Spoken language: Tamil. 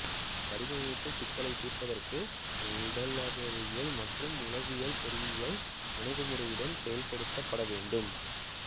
வடிவமைப்புச் சிக்கல்களைத் தீர்ப்பதற்கு உடலியக்கவியல் மற்றும் உளவியல் பொறியியல் அணுகுமுறையுடன் செயல்படுத்தப்பட வேண்டும்